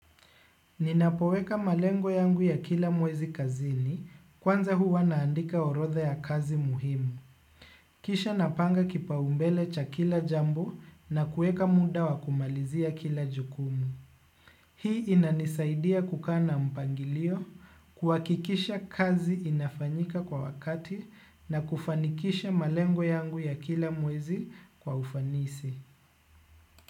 Ninapoweka malengo yangu ya kila mwezi kazini kwanza huwa naandika orodha ya kazi muhimu. Kisha napanga kipa umbele cha kila jambo na kuweka muda wa kumalizia kila jukumu. Hii inanisaidia kukaana mpangilio kuha kikisha kazi inafanyika kwa wakati na kufanikisha malengo yangu ya kila mwezi kwa ufanisi.